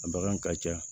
A bagan ka ca